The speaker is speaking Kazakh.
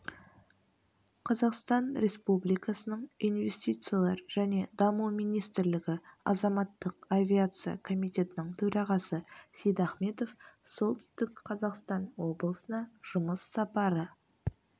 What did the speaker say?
қазақстан республикасының инвестициялар және даму министрлігі азаматтық авиация комитетінің төрағасы сейдахметов солтүстік қазақстан облысына жұмыс сапары